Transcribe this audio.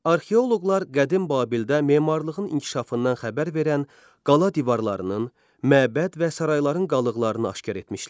Arxeoloqlar qədim Babildə memarlığın inkişafından xəbər verən qala divarlarının, məbəd və sarayların qalıqlarını aşkar etmişlər.